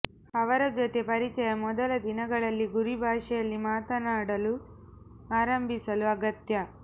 ಅವರ ಜೊತೆ ಪರಿಚಯ ಮೊದಲ ದಿನಗಳಲ್ಲಿ ಗುರಿ ಭಾಷೆಯಲ್ಲಿ ಮಾತನಾಡಲು ಆರಂಭಿಸಲು ಅಗತ್ಯ